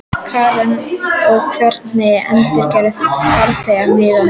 Karen: Og hver endurgreiðir farþegunum miðana?